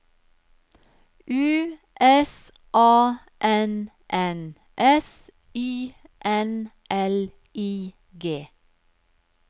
U S A N N S Y N L I G